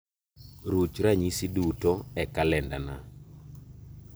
Ruch ranyisi duto e kalendana